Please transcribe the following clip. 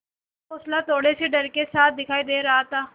का हौंसला थोड़े से डर के साथ दिखाई दे रहा था